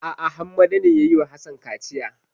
A'a Hammada ne ya yi wa Hassan kaciya.